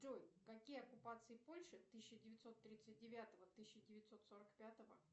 джой какие оккупации польши тысяча девятьсот тридцать девятого тысяча девятьсот сорок пятого